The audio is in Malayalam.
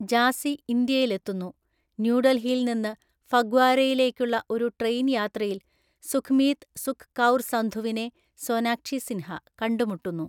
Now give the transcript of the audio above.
ജാസ്സി ഇന്ത്യയിലെത്തുന്നു, ന്യൂഡൽഹിയിൽ നിന്ന് ഫഗ്വാരയിലേക്കുള്ള ഒരു ട്രെയിൻ യാത്രയിൽ സുഖ്മീത് സുഖ് കൗർ സന്ധുവിനെ (സോനാക്ഷി സിൻഹ) കണ്ടുമുട്ടുന്നു.